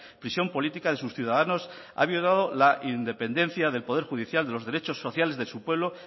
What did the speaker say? prisión política de sus ciudadanos ha violado la independencia del poder judicial de los derechos sociales de su pueblo